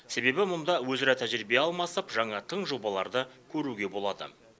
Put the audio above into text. себебі мұнда өзара тәжірибе алмасып жаңа тың жобаларды көруге болады